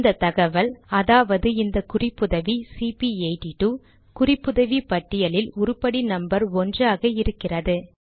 இந்த தகவல் அதாவது இந்த குறிப்புதவி சிபி82 குறிப்புதவி பட்டியலில் உருப்படி நம்பர் 1 ஆக இருக்கிறது